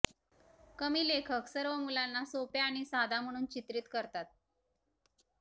कमी लेखक सर्व मुलांना सोप्या आणि साधा म्हणून चित्रित करतात